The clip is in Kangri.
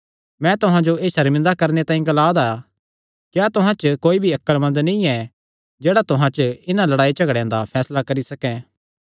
मैं तुहां जो एह़ सर्मिंदा करणे तांई ग्लांदा ऐ क्या तुहां च कोई भी अक्लमंद नीं ऐ जेह्ड़ा तुहां च इन्हां लड़ाईयांझगड़ेयां दा फैसला करी सकैं